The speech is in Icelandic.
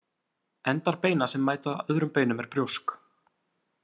Endar beina sem mæta öðrum beinum er brjósk.